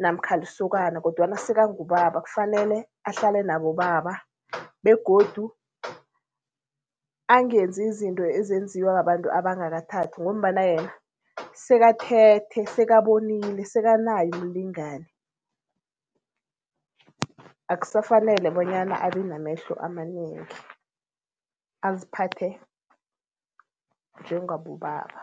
namkha lisokana kodwana sekangubaba. Kufanele ahlale nabobaba begodu angenzi izinto ezenziwa babantu abangakathathi ngombana yena sekathethe, sekabonile, sekanaye umlingani. Akusafanele bonyana abe namehlo amanengi, aziphathe njengabobaba.